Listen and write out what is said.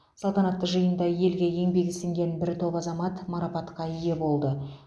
салтанатты жиында елге еңбегі сіңген бір топ азамат марапатқа ие болды